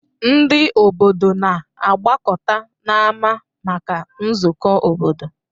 Ndị obodo na-agbakọta n'ámá maka nzukọ obodo.